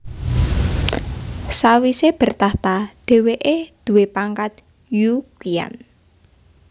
Sawise bertahta dheweke duwé pangkat Yu Qian